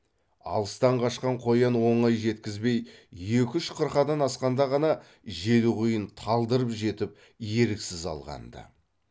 алыстан қашқан қоян оңай жеткізбей екі үш қырқадан асқанда ғана желқұйын талдырып жетіп еріксіз алған ды